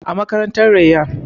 A makarantar Rayyan